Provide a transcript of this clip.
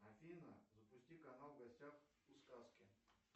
афина запусти канал в гостях у сказки